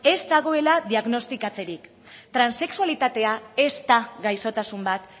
ez dagoela diagnostikatzerik transexualitatea ez da gaixotasun bat